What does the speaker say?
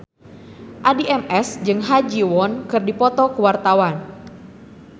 Addie MS jeung Ha Ji Won keur dipoto ku wartawan